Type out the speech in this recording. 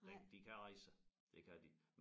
Den de kan rejse sig det kan de